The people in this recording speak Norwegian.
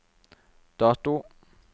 dato